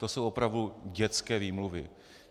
To jsou opravdu dětské výmluvy.